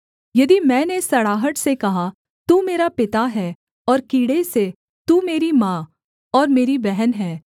यदि मैंने सड़ाहट से कहा तू मेरा पिता है और कीड़े से तू मेरी माँ और मेरी बहन है